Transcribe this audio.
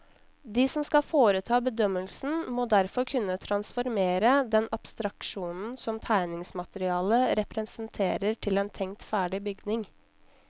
De som skal foreta bedømmelsen, må derfor kunne transformere den abstraksjonen som tegningsmaterialet representerer til en tenkt ferdig bygning.